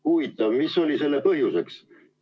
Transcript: Huvitav, mis oli selle põhjus?